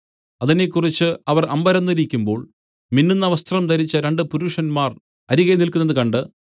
അതിനെക്കുറിച്ച് അവർ അമ്പരന്നിരിക്കുമ്പോൾ മിന്നുന്ന വസ്ത്രം ധരിച്ച രണ്ടു പുരുഷന്മാർ അരികെ നില്ക്കുന്നതു കണ്ട്